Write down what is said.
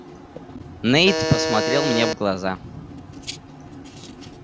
нэйд посмотрел мне в глаза